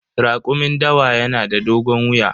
Rakumin dawa yanada dogon wuya.